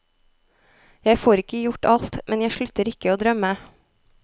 Jeg får ikke gjort alt, men jeg slutter ikke å drømme.